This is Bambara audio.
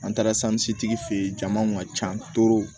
An taara tigi fɛ ye jamaw ka ca